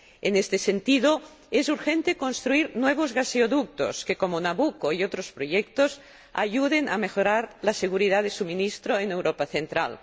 En este sentido, es urgente construir nuevos gasoductos, que, como Nabucco y otros proyectos, ayuden a mejorar la seguridad del suministro en Europa Central.